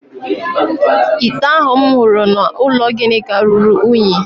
Ite ahụ m hụrụ n’ụlọ Ginika ruru unyi